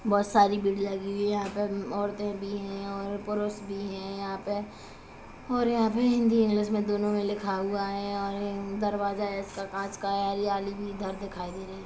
बहोत सारी भीड़ लगी है यहाँ पे औरते भी है पुरुष भी है यहाँ पे और यहाँ पे हिंदी इंग्लिश में दोनों में लिखा हुआ है और ये दरवाजा इसका कांच का है हरियाली भी इधर दिखाई दे रही है।